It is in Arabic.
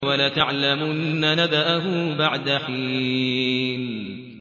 وَلَتَعْلَمُنَّ نَبَأَهُ بَعْدَ حِينٍ